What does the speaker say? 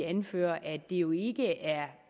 anføre at det jo ikke er